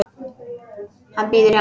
Hann bíður hennar.